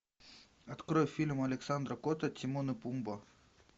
открой фильм александра котта тимон и пумба